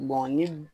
ni